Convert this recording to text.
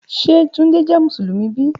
Ṣe Tunde jẹ Musulumi bi?